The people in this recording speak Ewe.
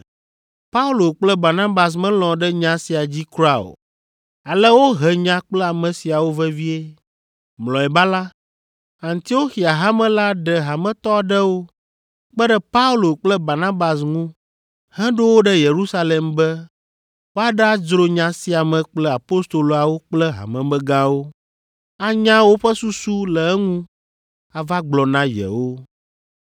Paulo kple Barnabas melɔ̃ ɖe nya sia dzi kura o, ale wohe nya kple ame siawo vevie. Mlɔeba la, Antioxia Hame la ɖe hametɔ aɖewo kpe ɖe Paulo kple Barnabas ŋu heɖo wo ɖe Yerusalem be woaɖadzro nya sia me kple Apostoloawo kple hamemegãwo, anya woƒe susu le eŋu ava gblɔ na yewo.